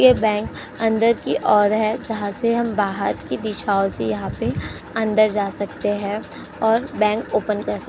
ये बैंक अंदर की ओर हैं। जहां से हम बाहर की दिशाओ से यहाँ पे अंदर जा सकते हैं और बैंक ओपन कर सक --